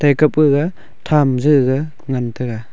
eka pega tham jeje ngan tega.